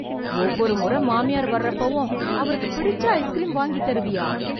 ஒவ்வொரு முறை மாமியார் வர்றப்பவும், அவருக்கு பிடிச்ச ஐஸ்க்ரீம் வாங்கித் தருவியா...